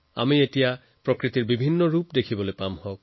আমি প্ৰকৃতিৰ ভিন্ন ৰং দেখিবলৈ পাম